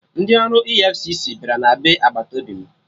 Ndị ọrụ EFCC bịara na be agbata obi m